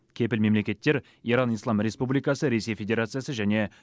кепіл мемлекеттер иран ислам республикасы ресей федерациясы және